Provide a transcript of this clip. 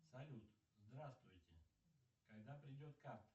салют здравствуйте когда придет карта